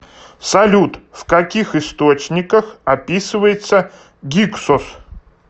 салют в каких источниках описывается гиксос